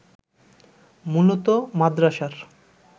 মূলত মাদরাসার